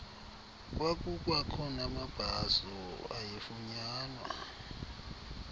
kwakukwakho namabhaso ayefunyanwa